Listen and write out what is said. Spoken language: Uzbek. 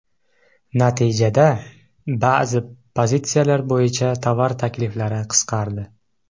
Natijada, ba’zi pozitsiyalar bo‘yicha tovar takliflari qisqardi.